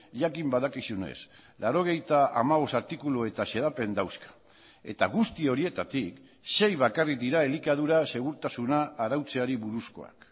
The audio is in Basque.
jakin badakizunez laurogeita hamabost artikulu eta xedapen dauzka eta guzti horietatik sei bakarrik dira elikadura segurtasuna arautzeari buruzkoak